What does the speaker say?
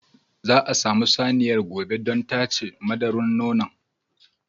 Za a samu saniyar gobe don tace madura nonon.